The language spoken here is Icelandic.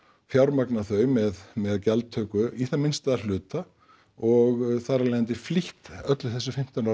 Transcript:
fjármagnað þau með með gjaldtöku í það minnsta að hluta og þar af leiðandi flýtt öllu þessu fimmtán ára